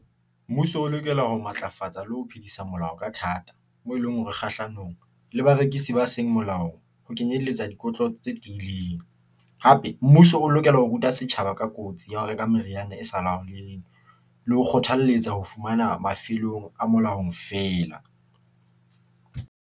Mmuso o lokela ho matlafatsa le ho phedisa molao ka thata, moo e leng hore, kgahlanong le barekisi ba seng molao ho kenyelletsa dikotlo tse tiileng. Hape, mmuso o lokela ho ruta setjhaba ka kotsi ya ho reka meriana e sa laholeheng, le ho kgothalletsa ho fumana mafelong a molaong feela.